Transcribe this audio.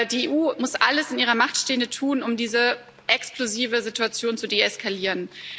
Die EU muss alles in ihrer Macht Stehende tun, um diese explosive Situation zu deeskalieren.